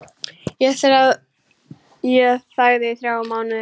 Ég þagði í þrjá mánuði.